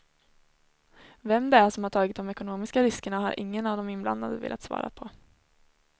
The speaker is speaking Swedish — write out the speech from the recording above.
Vem det är som har tagit de ekonomiska riskerna har ingen av de inblandade velat svara på.